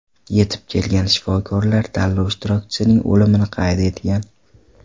Yetib kelgan shifokorlar tanlov ishtirokchisining o‘limini qayd etgan.